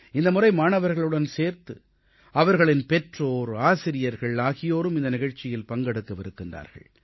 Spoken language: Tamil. இந்த முறை மாணவர்களுடன் சேர்த்து அவர்களின் பெற்றோர் ஆசிரியர்கள் ஆகியோரும் இந்த நிகழ்ச்சியில் பங்கெடுக்கவிருக்கிறார்கள்